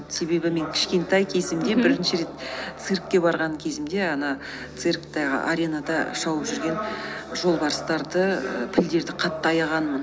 себебі мен кішкентай кезімде бірінші рет циркке барған кезімде ана цирктағы аренада шауып жүрген жолбарыстарды і пілдерді қатты аяғанмын